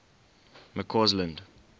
mccausland